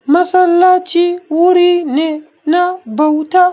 Masallaci wuri ne na bauta.